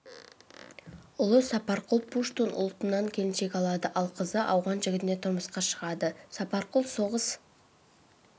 ұлы сапарқұл жергілікті пуштун ұлтынан келіншек алады ал қызы ауған жігітіне тұрмысқа шығады сапарқұл соғыс